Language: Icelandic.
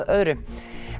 öðru